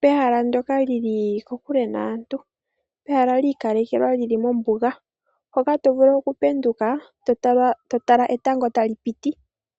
pehala ndjoka lili kokule naantu, ehala li ikalekelwa li li mombuga, mpoka to vulu okupenduka, to tala etango ta li piti.